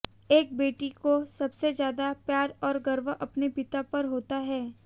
एक बेटी को सबसे ज्यादा प्यार और गर्व अपने पिता पर होता है